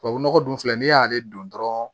Tubabu nɔgɔ dun filɛ n'i y'ale don dɔrɔn